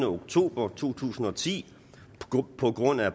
oktober to tusind og ti på grund af